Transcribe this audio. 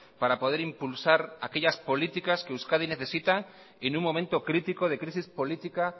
para poder impulsar aquellas políticas que euskadi necesita en un momento crítico de crisis política